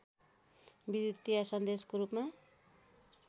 विद्युतीय सन्देशको रूपमा